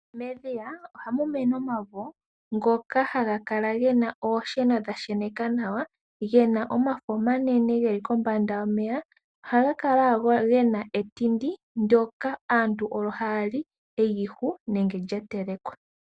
Medhiya ohamu mene omavo, ngoka haga kala gena oosheno dha sheneka nawa, gena omafo omanene geli kombanda yomeya. ohaga kala gena etindi ndyoka aantu olyo ha yali, eyihu nenge lya telekwa.